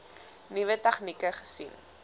nuwe tegnieke gesien